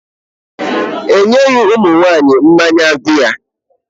E nyeghị ụmụ nwaanyị mmanya bịa.